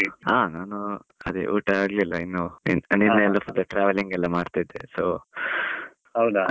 ಹಾ ನಾನು ಅದೇ ಉಟ ಆಗ್ಲಿಲ್ಲ ಇನ್ನು, ನಿನ್ನೆ traveling ಎಲ್ಲಾ ಮಾಡ್ತಿದ್ದೆ so .